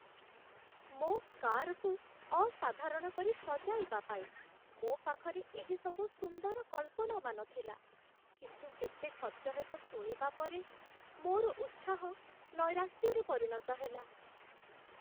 ମୋ କାରକୁ ଅସାଧାରଣ କରି ସଜାଇବା ପାଇଁ ମୋ ପାଖରେ ଏହିସବୁ ସୁନ୍ଦର କଳ୍ପନାମାନ ଥିଲା, କିନ୍ତୁ କେତେ ଖର୍ଚ୍ଚ ହେବ ଶୁଣିବା ପରେ, ମୋର ଉତ୍ସାହ ନୈରାଶ୍ୟରେ ପରିଣତ ହେଲା।